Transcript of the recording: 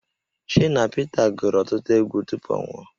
Shina Pita gụrụ ọtụtụ egwu tupu ọ nwụọ